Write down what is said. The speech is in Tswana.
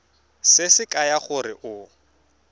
se se kaya gore o